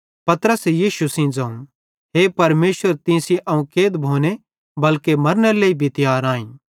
पतरसे यीशु सेइं ज़ोवं हे परमेशर तीं सेइं अवं कैद भोने बल्के मरनेरे लेइ भी तियार आईं